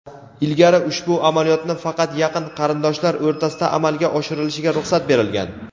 Ilgari ushbu amaliyotni faqat yaqin qarindoshlar o‘rtasida amalga oshirilishiga ruxsat berilgan.